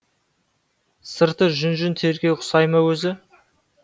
сырты жүн жүн теріге ұқсай ма өзі